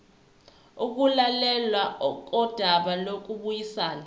ukulalelwa kodaba lokubuyisana